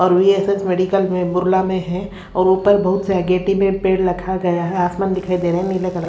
और VSS medical में बुरला में हैं और ऊपर बहुत व्हेगेटी में पेड़ रखा गया है आसमान दिखाई दे रहा है नीले कलर --